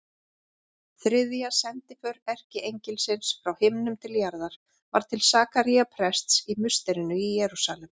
Þriðja sendiför erkiengilsins frá himnum til jarðar var til Sakaría prests í musterinu í Jerúsalem.